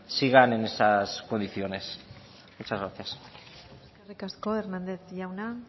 sigan en esas condiciones muchas gracias eskerrik asko hernández jauna